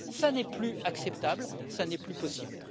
Ce n'est plus acceptable, ce n'est plus possible.